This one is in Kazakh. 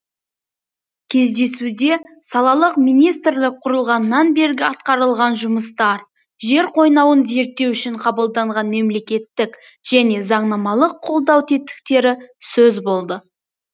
кездесуде салалық министрлік құрылғаннан бергі атқарылған жұмыстар жер қойнауын зерттеу үшін қабылданған мемлекеттік және заңнамалық қолдау тетіктері сөз болды